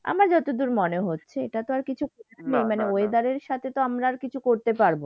আমার যতদূর মনে হচ্ছে। এটা তো আর কিছু নেই মানে weather এর সাথে তো আর আমরা কিছু করতে পারবো না।